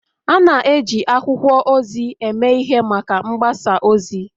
A na-eji akwụkwọ ozi eme ihe maka mgbasa ozi